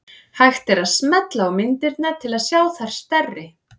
Hægt er að smella á myndirnar til að sjá þær stærri.